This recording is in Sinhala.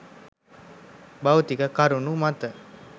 භෞතික කරුණු මත